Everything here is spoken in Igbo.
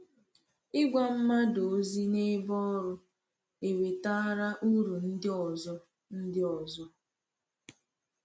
Ịgwa mmadụ ozi n’ebe ọrụ ewetaara uru ndị ọzọ. ndị ọzọ.